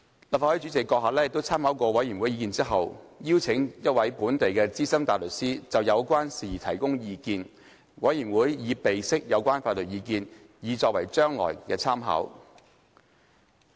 立法會主席閣下參考過委員會的意見後，已邀請一位本地的資深大律師就有關事宜提供意見，委員會已備悉有關法律意見以作將來參考。